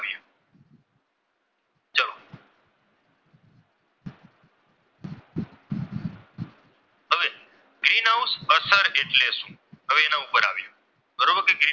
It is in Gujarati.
ગ્રીન હાઉસ અસર એટલે શું? તો હવે એના ઉપર આવીએ બરોબર કે?